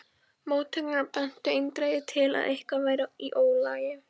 Móttökurnar bentu eindregið til að eitthvað væri í ólagi.